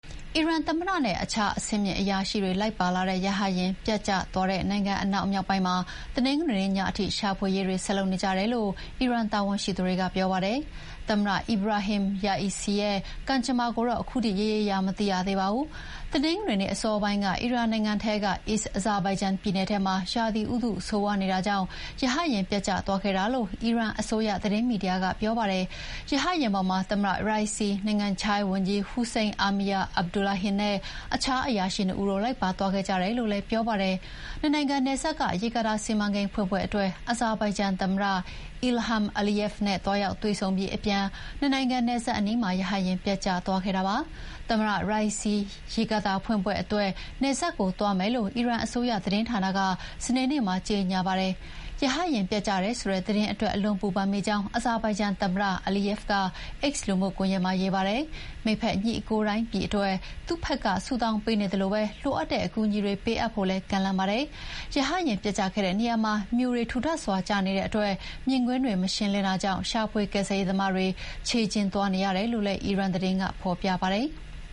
အီရန်သမ္မတနဲ့ အခြားအဆင့်အမြင့်အရာရှိတွေ လိုက်ပါလာတဲ့ရဟတ်ယာဥ်ပျက်ကျသွားတဲ့ နိုင်ငံ့အနောက်မြောက်ပိုင်းမှာ တနင်္ဂနွေနေ့ညထိ ရှာဖွေရေးဆက်လုပ်နေကြတယ်လို့ အီရန်တာဝန်ရှိသူတွေက ပြောပါတယ်။ သမ္မတ Ebrahim Raisi ရဲ့ ကံကြမ္မာကိုတော့ ခုထိရေရေရာရာမသိရသေးပါဘူး။ တနင်္ဂနွေနေ့အစောပိုင်းက အီရန်နိုင်ငံထဲက East Azerbaijan ပြည်နယ်ထဲမှာ ရာသီဥတုဆိုးရွားနေတာကြောင့် ရဟတ်ယာဥ်ပျက်ကျသွားခဲ့တာလို့ အီရန်အစိုးရ သတင်းမီဒီယာကပြောပါတယ်။ ရဟတ်ယာဥ်ပေါ်မှာ သမ္မတ Raisi၊ နိုင်ငံခြားရေးဝန်ကြီး Hossein Amir-Abdollahian နဲ့ အခြားအရာရှိ ၂ ဦးတို့လိုက်ပါသွားခဲ့ကြတယ်လို့လည်း ပြောပါတယ်။ နှစ်နိုင်ငံနယ်စပ်က ရေကာတာစီမံကိန်းဖွင့်ပွဲအတွက် အဇာဘိုင်ဂျန်သမ္မတ Ilham Aliyev နဲ့ သွားရောက်တွေ့ဆုံအပြီး အပြန်နှစ်နိုင်ငံနယ်စပ်အနီးမှာ ရဟတ်ယာဥ်ပျက်ကျသွားခဲ့တာပါ။ သမ္မတ Raisi ရေကာတာဖွင့်ပွဲအတွက် နယ်စပ်ကို သွားမယ်လို့ အီရန်အစိုးရသတင်းဌာနက စနေနေ့မှာကြေညာပါတယ်။ ရဟတ်ယာဥ်ပျက်ကျတယ်ဆိုတဲ့သတင်းအတွက် အလွန်ပူပန်မိကြောင်း အဇာဘိုင်ဂျန်သမ္မတ Aliyev က X လူမှုကွန်ယက်မှာရေးပါတယ်။ မိတ်ဖက်ညီအကိုတိုင်းပြည်အတွက် သူ့ဘက်က ဆုတောင်းပေးနေသလို လိုအပ်တဲ့အကူအညီတွေပေးအပ်ဖို့လည်း ကမ်းလှမ်းပါတယ်။ ရဟတ်ယာဥ်ပျက်ကျခဲ့တဲ့နေရာမှာ မြူတွေကျနေတဲ့အတွက် မြင်ကွင်းတွေမရှင်းလင်းတာကြောင့် ရှာဖွေကယ်ဆယ်ရေးသမားတွေ ခြေလျင်သွားနေရတယ်လို့လည်း အီရန်သတင်းကဖော်ပြပါတယ်။